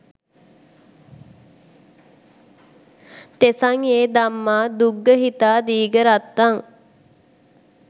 තෙසං යෙ ධම්මා දුග්ගහීතා දීඝරත්තං